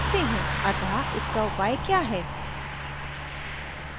अतः इसका उपाय क्या है